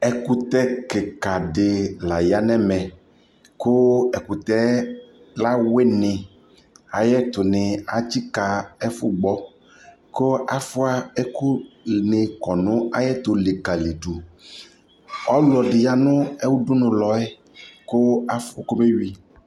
ɛkʋtɛ kikaa di laya nʋ ɛmɛ kʋ ɛkʋtɛ la wini, ayi ɛtʋ ni ɛtsika ɛƒʋ gbɔ kʋ aƒʋa ɛkʋni kɔnʋ ayɛtʋ likalidʋ, ɔlɔdi yanʋ ʋdʋnʋ lɔɛ kʋ aƒʋ kɔmɛ wi